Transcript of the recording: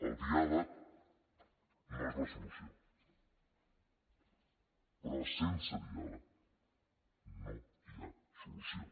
el diàleg no és la solució però sense diàleg no hi ha solució